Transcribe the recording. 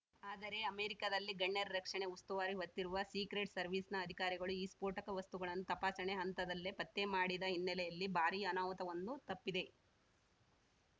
ಆದರೆ ಅಮೆರಿಕದಲ್ಲಿ ಗಣ್ಯರ ರಕ್ಷಣೆ ಉಸ್ತುವಾರಿ ಹೊತ್ತಿರುವ ಸೀಕ್ರೆಟ್‌ ಸರ್ವೀಸ್ ನ ಅಧಿಕಾರಿಗಳು ಈ ಸ್ಫೋಟಕ ವಸ್ತುಗಳನ್ನು ತಪಾಸಣೆ ಹಂತದಲ್ಲೇ ಪತ್ತೆ ಮಾಡಿದ ಹಿನ್ನೆಲೆಯಲ್ಲಿ ಭಾರೀ ಅನಾಹುತವೊಂದು ತಪ್ಪಿದೆ